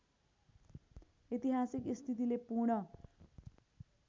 ऐतिहासिक स्थितिले पूर्ण